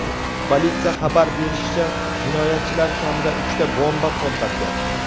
Politsiya xabar qilishicha, jinoyatchilar kamida uchta bomba portlatgan.